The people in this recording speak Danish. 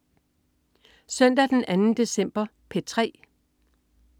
Søndag den 2. december - P3: